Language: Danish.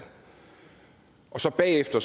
og så bagefter